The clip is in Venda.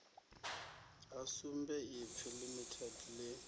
ha sumbe ipfi limited ḽi